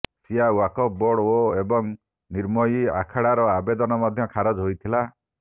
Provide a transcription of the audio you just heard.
ସିଆ Waqf board ଏବଂ ନିର୍ମୋହି ଆଖଡ଼ାର ଆବେଦନ ମଧ୍ୟ ଖାରଜ ହୋଇଥିଲା